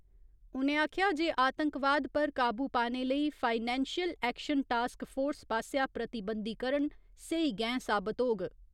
उ'नें आखेआ जे आतंकवाद पर काबू पाने लेई फाइनैंशल एक्शन टास्क फोर्स पास्सेआ प्रतिबंधीकरण सेही गैंह साबत होग।